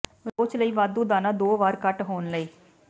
ਰੋਚ ਲਈ ਵਾਧੂ ਦਾਣਾ ਦੋ ਵਾਰ ਘੱਟ ਹੋਣ ਲਈ